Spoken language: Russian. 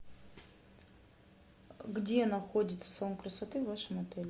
где находится салон красоты в вашем отеле